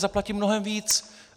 Zaplatím mnohem víc.